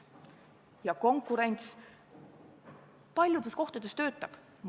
Ja konkurents paljudes valdkondades töötab.